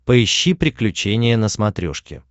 поищи приключения на смотрешке